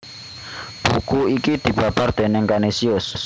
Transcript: Buku iki dibabar déning Kanisius